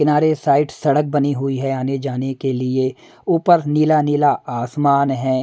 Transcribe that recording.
किनारे साइड सड़क बनी हुई है आने जाने के लिए ऊपर नीला नीला आसमान है।